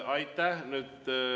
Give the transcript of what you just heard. Aitäh!